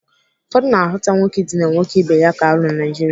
Ụfọdụ na-ahụta nwoke idina nwoke ibe ya ka arụ na Naijiria